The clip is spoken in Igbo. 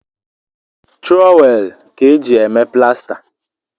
Trọwel kaa eji eme plasta